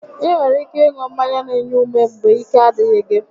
Ị nwere ike ịṅụ mmanya n'enye ume mgbe ike a dịghị gị